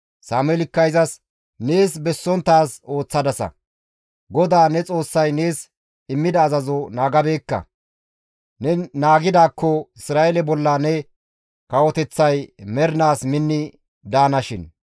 Sameelikka izas, «Nees bessonttaaz ooththadasa; GODAA ne Xoossay nees immida azazo naagabeekka; ne naagidaakko Isra7eele bolla ne kawoteththay mernaas minni daanashin.